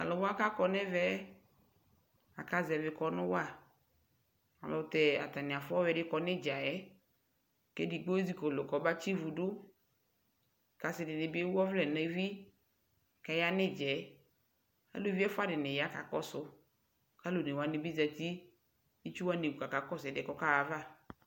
to alo wa ko akɔ no ɛvɛ aka zɛvi kɔno wa ɛlotɛ atani afua ɔwiɛ di kɔ no idzaɛ ko edigbo ezi kɔlo ko ɔba tsi ivu do ko asi dini bi ewu ɔvlɛ no evi ko aya no idzaɛ uluvi ɛfua dini ya ka kɔso alo one wani bi zati no itsu wani wu ko aka kɔso ɛdiɛ ko ɔkaɣa ava